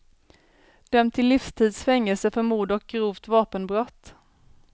Dömd till livstids fängelse för mord och grovt vapenbrott.